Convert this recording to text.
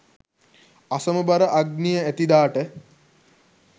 අසමබර අග්නිය ඇති දාට